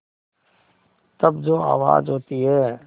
तब जो आवाज़ होती है